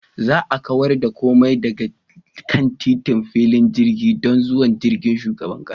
Za a kawar da komai daga kan titin filin jirgin don zuwan jirgin shugaban kasa.